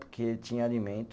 Porque tinha alimento.